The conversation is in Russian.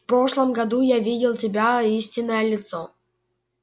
в прошлом году я видел тебя истинное лицо